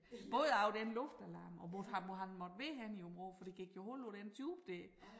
Både af den luftalarm og måtte han hvor måtte han være henne i Aabenraa for der gik jo hul på den tube dér